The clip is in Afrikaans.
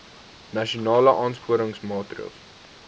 nasionale aansporingsmaatre ls